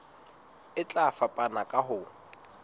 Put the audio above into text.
e tla fapana ka ho